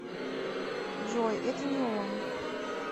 джой это не он